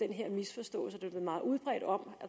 her misforståelse der blev meget udbredt om